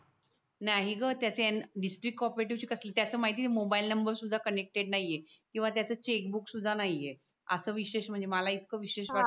नाही ग त्याचे डिस्ट्रिक्ट को-ऑपरेटिव्ह त्याचे माहिती मोबाईल नंबर सुद्धा कनेक्टेड नाहीये किंवा त्याचे बुक सुद्धा नाहीये असं विशेष म्हणजे मला इतका विशेष वाटत